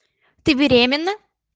ты беременна